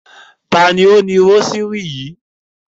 Ta ni ó ni rósírì yìí?